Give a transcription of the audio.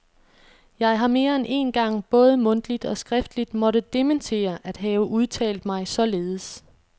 Jeg har mere end én gang både mundtligt og skriftligt måtte dementere at have udtalt mig således.